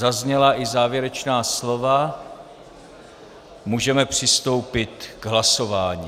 Zazněla i závěrečná slova, můžeme přistoupit k hlasování.